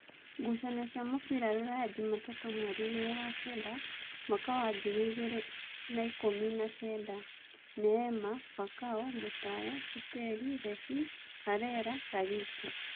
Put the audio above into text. Ngucanio cia mũbira Ruraya Jumatatũ mweri igiri wa-kenda mwaka wa ngiri igĩrĩ na ikũmi na kenda: Neema, Fakao, Mutaya, Siteli, Rebi, Arela, Ragĩti